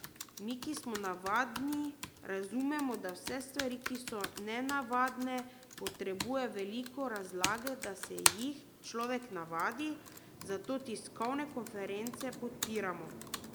Mi, ki smo navadni, razumemo, da vse stvari, ki so nenavadne, potrebujejo veliko razlage, da se jih človek navadi, zato tiskovne konference podpiramo.